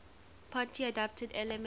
party adapted elements